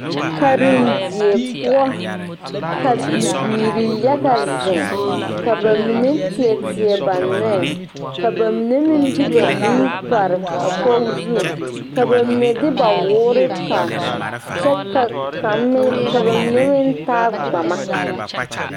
Karendie poɔ ka bibiiri yaga zeŋ ka ba mine teɛ teɛ ba nɔɛ ka ba mine meŋ de ba nu pare a kogi zu ka ba mine de ba woore pare kyɛ ka kaŋ meŋ ka ba mine meŋ taa gbama.